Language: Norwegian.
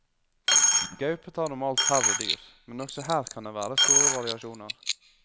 Gaupe tar normalt færre dyr, men også her kan det være store variasjoner.